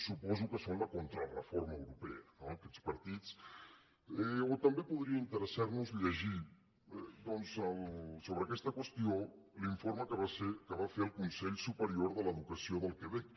suposo que són la contrareforma europea no aquests partits o també podria interessar nos llegir doncs sobre aquesta qüestió l’informe que va fer el consell superior de l’educació del quebec